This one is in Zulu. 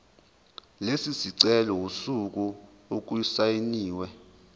lesicelo usuku okusayinwe